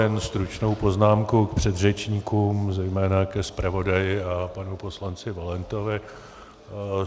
Jen stručnou poznámku k předřečníkům, zejména ke zpravodaji a panu poslanci Valentovi.